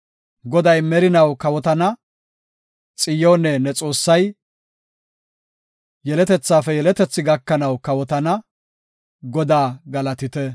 Goday merinaw kawotana; Xiyoone, ne Xoossay, yeletethafe yeletethi gakanaw kawotana. Godaa galatite!